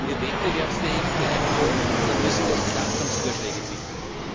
Wenn wir wettbewerbsfähig bleiben wollen, dann müssen wir Entlastungsvorschläge bieten.